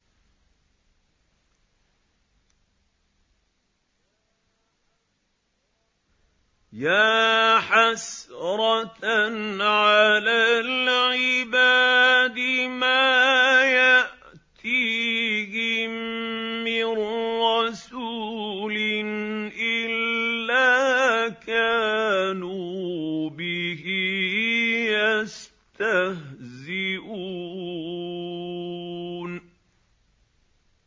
يَا حَسْرَةً عَلَى الْعِبَادِ ۚ مَا يَأْتِيهِم مِّن رَّسُولٍ إِلَّا كَانُوا بِهِ يَسْتَهْزِئُونَ